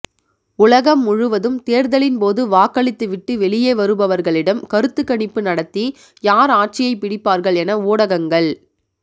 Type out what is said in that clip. உலகம் முழுவதும் தேர்தலின்போது வாக்களித்து விட்டு வெளியே வருபவர்களிடம் கருத்துக் கணிப்பு நடத்தி யார் ஆட்சியைப் பிடிப்பார்கள் என ஊடகங்கள்